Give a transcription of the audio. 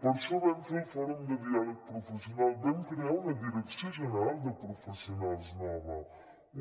per això vam fer el fòrum de diàleg professional vam crear una direcció general de professionals nova